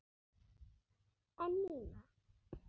En Nína?